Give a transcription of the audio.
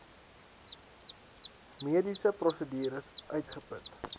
mediese prosedures uitgeput